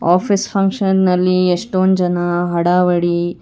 office function ನಲ್ಲಿ ಎಷ್ಟೊಂದ್ ಜನ ಹಡಾವಡಿ--